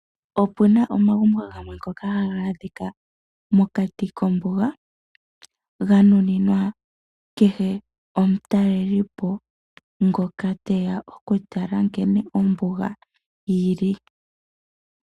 Opuna omagumbo gamwe ngoka haga adhika mokati kombuga . Ga nuninwa kehe omutalelipo ngoka teya oku tala nkene ombuga yili.